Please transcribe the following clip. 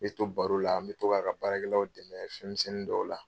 N bɛ to baro la n bɛ to k'a ka baarakɛlaw dɛmɛ fɛnmisɛnnin dɔw la.